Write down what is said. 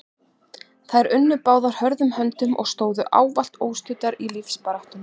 Þær unnu báðar hörðum höndum og stóðu ávallt óstuddar í lífsbaráttunni.